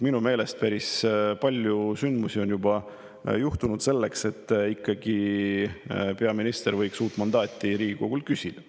Minu meelest on päris palju sündmusi juba juhtunud, mistõttu võiks peaminister ikkagi Riigikogult uut mandaati küsida.